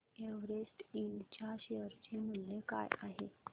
Everest Ind च्या share चे मूल्य काय आहे